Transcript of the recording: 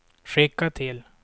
skicka till